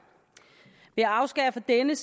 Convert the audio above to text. er med